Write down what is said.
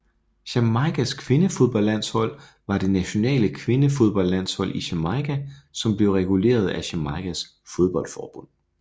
Jamaicas kvindefodboldlandshold var det nationale kvindefodboldlandshold i Jamaica som blev reguleret af Jamaicas fodboldforbund